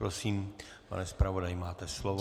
Prosím, pane zpravodaji, máte slovo.